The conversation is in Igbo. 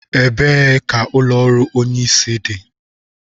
Ebee ka ụlọ ọrụ Onye isi dị?